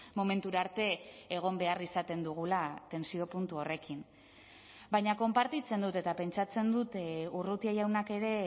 momentura arte egon behar izaten dugula tentsio puntu horrekin baina konpartitzen dut eta pentsatzen dut urrutia jaunak ere